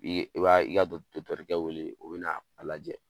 I ye i b'a i ka dɔkitɛrikɛ wele, o bɛ na a lajɛ.